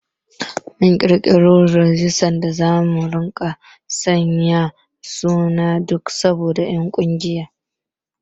Mun ƙirƙiro rajistar da zamu dinga sanya sunan duk sabon ɗan ƙungiya